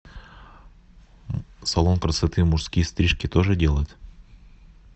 салон красоты мужские стрижки тоже делает